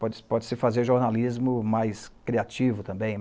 Pode-se pode-se fazer jornalismo mais criativo também.